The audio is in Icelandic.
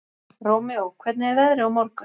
Rómeó, hvernig er veðrið á morgun?